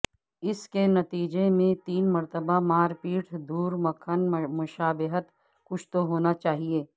اس کے نتیجے میں تین مرتبہ مار پیٹ دور مکھن مشابہت کچھ تو ہونا چاہئے